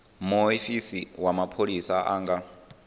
muofisi wa mapholisa a nga